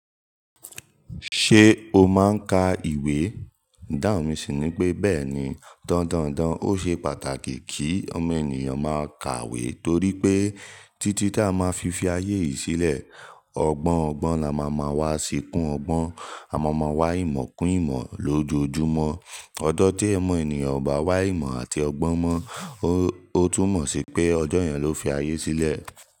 Ṣé o máa ń ka ìwé? Idáhùn mi sì ni pé bẹ́ẹ̀ni. Dandan o ṣe pàtàkì kí ọmọ ènìyàn máa kàwé torí pé títí tí a máa fi fi ayé yìí sílẹ̀, ọgbọ́n ọgbọ́n la máa ma wá, ṣíkún ọgbọ́n, àmọ́ máa wá ìmọ̀ kún ìmọ̀ lójoojúmọ́. Ọjọ tí omọ̀ ènìyàn ò bá wá ìmọ̀ àti ọgbọ́n mọ́, ó tún mọ̀ sí pé ọjọ́ yẹn ló fi ayé sílẹ̀